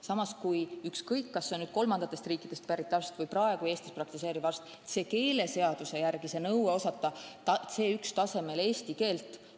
Samas, ükskõik, kas tegu on kolmandast riigist pärit arsti või praegu Eestis praktiseeriva arstiga, keeleseaduse järgi on nõue osata C1 tasemel eesti keelt.